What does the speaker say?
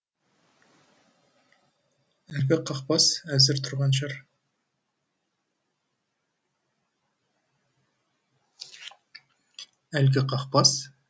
әлгі қақпас әзір тұрған шығар әлгі қақпас